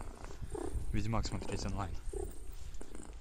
ведьмак смотреть онлайн